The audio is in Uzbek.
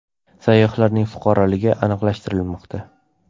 Sayyohlarning fuqaroligi aniqlashtirilmoqda.